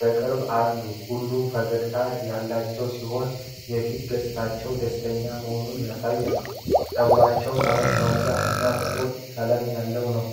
በቅርበት አሉ። ሁሉም ፈገግታ ያላቸው ሲሆን የፊት ገፅታቸው ደስተኛ መሆኑን ያሳያል። ፀጉራቸው ጠምዛዛ እና ጥቁር ነው፡፡